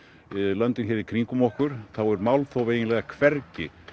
löndin hér í kringum okkur er málþóf eiginlega hvergi